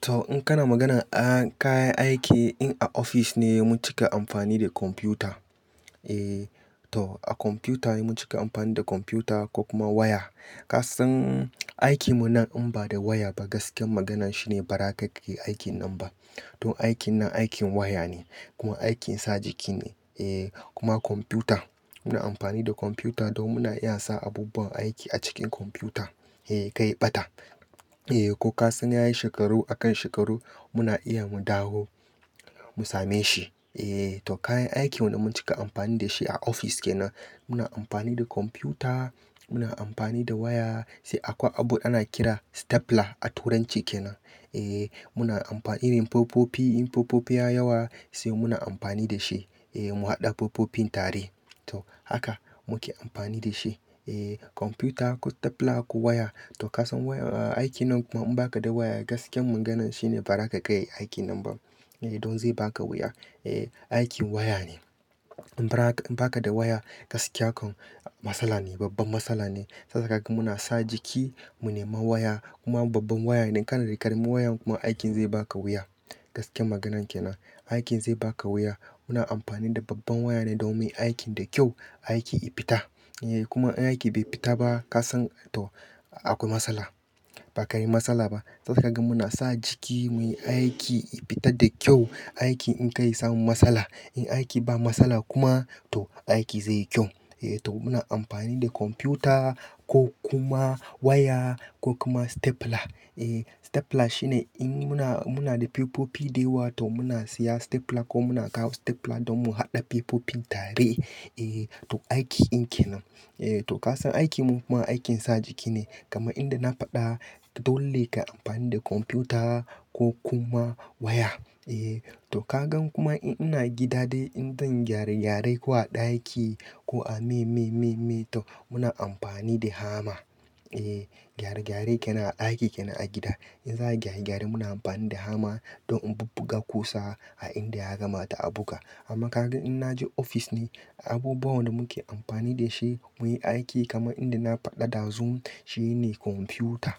To in kana magana an kayan aiki in a office ne mun cika amfani da kwamfuta. Eh to a kwamfuta ne mun cika amfani da kwamfuta ko kuma waya. Kasan aikin mu nan in ba da waya ba gaskiyar magana shine ba za ka iya aikin nan ba. Don aikin nan aikin waya ne kuma aikin sa jiki ne. Eh kuma kwamfuta muna amfani da kwamfuta don muna iya sa abubuwan aiki a cikin kwamfuta. Eh, kai ya ɓata. Eh ko ka san yayi shekaru akan shekaru muna iya mu dawo mu same shi. Eh to kayan aikin wanda mun cika amfani da shi a office kenan muna amfani da kwamfuta, muna amfani da waya, sai akwai abu ana kira stapler a turanci kenan. Eh muna amfa irin popofi in popofi yayi yawa sai muna amfani da shi. Eh mu haɗa popofin tare. To haka muke amfani da shi. Eh kwamfuta, ko stapler ko waya. To ka san waya a, aikin nan kuma in ba ka da waya gaskiyar maganan shine ba za ka iya ka iya aikin nan ba. Eh don zai baka wuya. Eh aikin waya ne. In ba ka da waya gaskiya ko matsala ne, babba matsala ne. Saboda haka muna sa jiki mu nema waya kuma babban waya ne. Kana da ƙaramin waya kuma aikin zai baka wuya. Gaskiyar maganan kenan. Aikin zai baka wuya. Muna amfani da babban waya ne domin aikin da kyau, aiki ya fita. Eh kuma in aiki bai fita ba ka san to akwai matsala. Ba ka yi matsala ba. Saboda haka muna sa jiki muyi aiki ya fita da kyau. Aiki in kar ya samu matsala. In aiki ba matsala kuma to aiki zai yi kyau. Eh to muna amfani da kwamfuta ko kuma waya ko kuma stapler. Eh stapler shine in muna, muna da pepofi da yawa to muna siya stapler ko muna kawo stapler don mu haɗa pepofin tare. Eh to aiki in kenan. Eh to ka san aikin mu kuma aikin sa jiki ne kamar inda na faɗa dole ka yi amfani da kwamfuta ko kuma waya. Eh to ka gan kuma in ina gida dai in zan gyare gyare ko a ɗaki ko a mai mai mai mai to muna amfani da hammer. Eh gyare gyare kenan a aiki kenan a gida. In za'a gyare gyare muna amfani da hammer don in bubbuga ƙusa a inda ya kamata a buga. Amma ka gan in na je ofis ne, abubuwan da muke amfani da shi muyi aiki kamar inda na faɗa ɗazun shine kwamfuta.